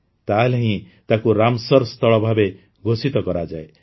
ତା ହେଲେ ହିଁ ତାକୁ ରାମସର୍ ସ୍ଥଳ ଭାବେ ଘୋଷିତ କରାଯାଏ